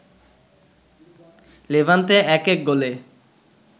Levante ১-১ গোলে